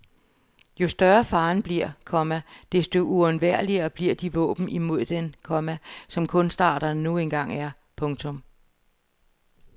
Jo større faren bliver, komma desto uundværligere bliver de våben imod den, komma som kunstarterne nu engang er. punktum